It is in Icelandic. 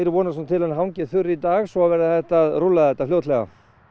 vonast nú til að hann hangi þurr í dag svo það verði hægt að rúlla þetta fljótlega